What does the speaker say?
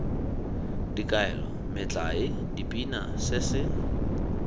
dikaelo metlae dipina se se